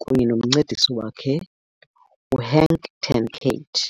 kunye nomncedisi wakhe uHenk ten Cate.